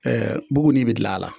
Ɛɛ buguni bɛ dilan a la.